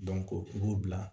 u b'u bila